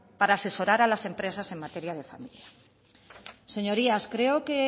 para asesorar a las empresas en materia de familia señorías creo que